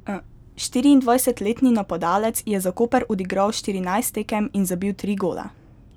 Štiriindvajsetletni napadalec je za Koper odigral štirinajst tekem in zabil tri gole.